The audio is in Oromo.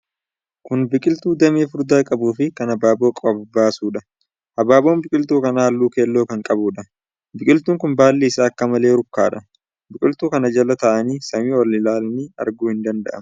Kun biqiltuu damee furdaa qabuufi kan habaaboo baasudha. Habaaboon biqiltuu kana halluu keelloo kan qabuudha. Biqiltuun kun baalli isaa akka malee rukkaadha. Biqiltuu kana jala taa'anii samii ol ilaalanii arguun hin danda'amu.